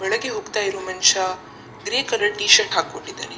ಒಳಗೆ ಹೋಗ್ತಾ ಇರುವ ಮನ್‌ಷ ಗ್ರೇ ಕಲರ್‌ ಟೀ ಷರ್ಟ್‌ ಹಾಕ್ಕೊಂಡಿದ್ದಾನೆ.